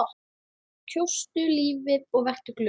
Kjóstu lífið og vertu glöð.